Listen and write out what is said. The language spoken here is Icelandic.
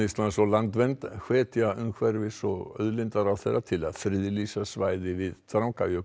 Íslands og Landvernd hvetja umhverfis og auðlindaráðherra til að friðlýsa svæði við Drangajökul